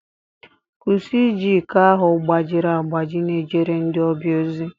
kwụsị iji iko ahụ gbajiri agbaji na-ejere ndị ọbịa ozi